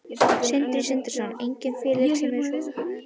Sindri Sindrason: Engin félög sem eru svona ofar öðrum?